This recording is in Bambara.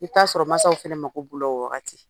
I bɛ t'a sɔrɔ masaw fɛnɛ mako b'o la o waagati